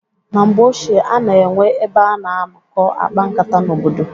Na mgbe ochie a na-enwe ebe a na-anọkọ akpa nkata n' obodo.